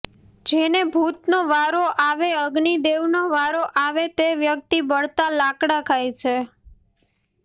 જેને ભૂતનો વારો આવે અગ્નિદેવનો વારો આવે તે વ્યક્તિ બળતા લાકડા ખાય છે